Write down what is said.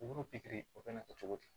U b'u pikiri o bɛ na kɛ cogo di